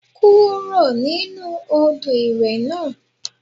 Kúrò nínú Odò ìwẹ̀ náà.